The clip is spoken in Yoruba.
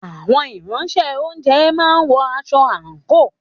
Àwọn Ìránṣẹ́-oúnjẹ máa ń wọ aṣọ àǹkóò